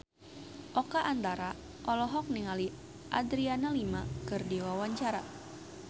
Oka Antara olohok ningali Adriana Lima keur diwawancara